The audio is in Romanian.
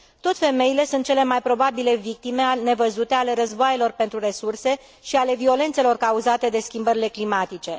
Tot femeile sunt cele mai probabile victime nevăzute ale războaielor pentru resurse și ale violențelor cauzate de schimbările climatice.